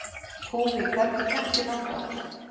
Húmi, hvernig kemst ég þangað?